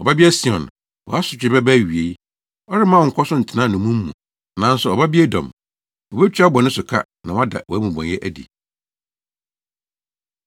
Ɔbabea Sion, wʼasotwe bɛba awiei; ɔremma wo nkɔ so ntena nnommum mu. Nanso Ɔbabea Edom, obetua wo bɔne so ka na wada wʼamumɔyɛ adi.